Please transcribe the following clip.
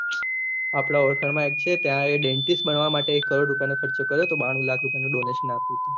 આપળે હોટેલ માં છે એક ત્યાં એ દેન્ટીસ્ત બનવા માટે એક કરોડો રુપયા ની ખર્ચો કર્યો હતો બાનવું લાખ રુપયા ની ડોનેશન આપી ને